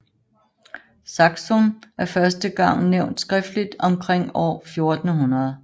Saksun er første gang nævnt skriftlig omkring år 1400